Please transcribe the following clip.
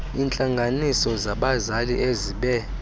iintlanganiso zabazali ezibe